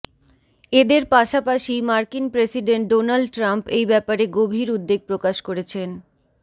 এদের পাশাপাশিই মার্কিন প্রেসিডেন্ট ডোনাল্ড ট্রাম্প এই ব্যাপারে গভীর উদ্বেগ প্রকাশ করেছেন